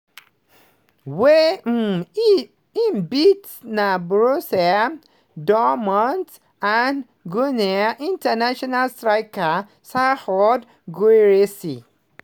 wey um im beat na borussia dortmund and guinea international striker serhou guirassy